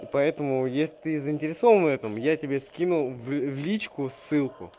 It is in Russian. и поэтому есть ты заинтересован в этом я тебе скинул в личку ссылку